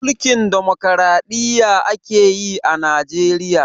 Mulkin Demokradiyya akeyi a Najeriya